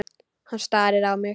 Hann starir á mig.